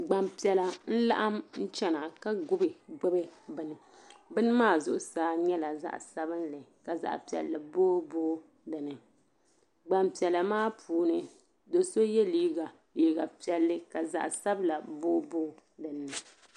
Gban piɛla n laɣim n chana ka gubi gbubi bɛni . bɛni maa zuɣu saa nyɛla zaɣi sabinli ka zaɣi piɛli boo boo dini. gban piɛla maa puuni doso ye liiga zaɣi piɛli ka zaɣi sabila boo boodini